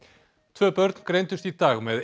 tvö börn greindust í dag með